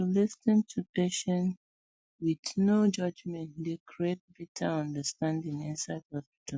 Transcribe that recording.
to dey lis ten to patients with no judgement dey create better understanding inside hospitals